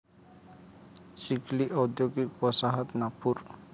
चिखली औद्योगिक वसाहत नागपूर